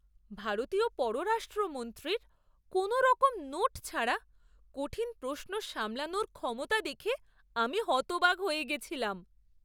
ভারতীয় পররাষ্ট্রমন্ত্রীর কোনোরকম নোট ছাড়া কঠিন প্রশ্ন সামলানোর ক্ষমতা দেখে আমি হতবাক হয়ে গেছিলাম!